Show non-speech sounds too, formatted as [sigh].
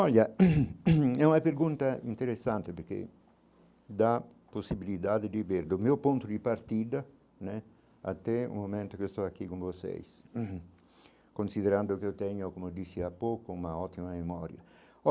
Olha, [coughs] é uma pergunta interessante, porque dá possibilidade de ver, do meu ponto de partida né, até o momento que eu estou aqui com vocês, [coughs] considerando que eu tenho como disse há pouco uma ótima memória.